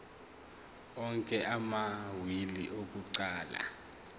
onke amawili akuqala